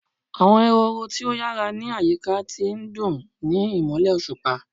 Awọn ehoro ti o yara ni ayika ti ndun ni imọlẹ oṣupa